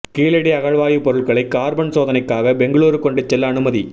கீழடி அகழாய்வுப் பொருட்களை கார்பன் சோதனைக்காக பெங்களூரு கொண்டு செல்ல அனுமதி